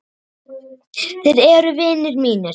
Þeir eru vinir mínir.